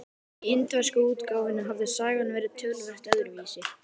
Í indversku útgáfunni hafði sagan verið töluvert öðruvísi.